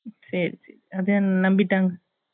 சரி சரி அத நம்பிட்டாங்க